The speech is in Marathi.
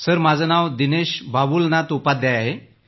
सर माझं नाव दिनेश बाबूलनाथ उपाध्याय आहे